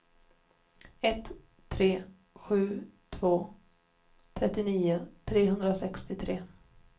ett tre sju två trettionio trehundrasextiotre